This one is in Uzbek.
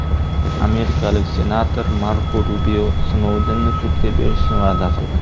Amerikalik senator Marko Rubio Snoudenni sudga berishni va’da qildi.